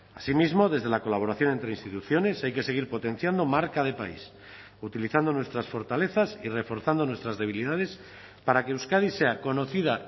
asimismo desde la colaboración entre instituciones hay que seguir potenciando marca de país utilizando nuestras fortalezas y reforzando nuestras debilidades para que euskadi sea conocida